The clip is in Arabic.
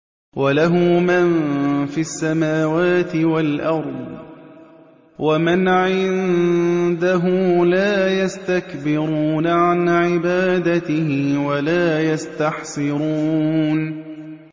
وَلَهُ مَن فِي السَّمَاوَاتِ وَالْأَرْضِ ۚ وَمَنْ عِندَهُ لَا يَسْتَكْبِرُونَ عَنْ عِبَادَتِهِ وَلَا يَسْتَحْسِرُونَ